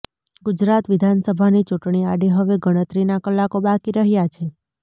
ગુજરાત વિધાનસભાની ચૂંટણી આડે હવે ગણતરીના કલાકો બાકી રહ્યા છે